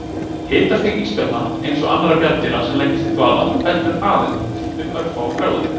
Hitastig ísbjarna, eins og annarra bjarndýra sem leggjast í dvala, fellur aðeins um örfáar gráður.